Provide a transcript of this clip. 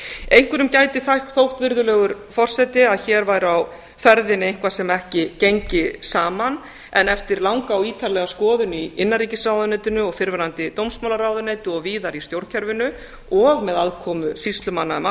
einhverjum gæti þótt virðulegur forseti að hér væri á ferðinni eitthvað sem ekki gengi saman en eftir langa og ítarlega skoðun í innanríkisráðuneytinu og fyrrverandi dómsmálaráðuneyti og víðar í stjórnkerfinu og með aðkomu sýslumanna um